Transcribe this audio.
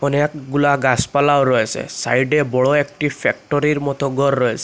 অনেকগুলা গাসপালাও রয়েসে সাইডে বড় একটি ফ্যাক্টরির মতো গর রয়েসে।